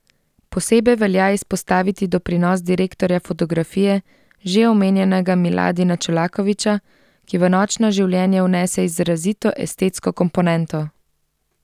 Posebej velja izpostaviti doprinos direktorja fotografije, že omenjenega Miladina Čolakovića, ki v Nočno življenje vnese izrazito estetsko komponento.